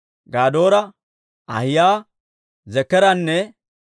Gadoora, Ahiyaa, Zekeranne